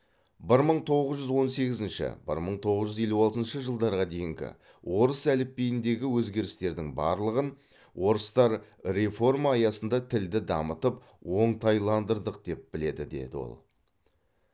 бір мың тоғыз жүз он сегізінші бір мың тоғыз жүз елу алтыншы жылдарға дейінгі орыс әліпбиіндегі өзгерістердің барлығын орыстар реформа аясында тілді дамытып оңтайландырдық деп біледі деді ол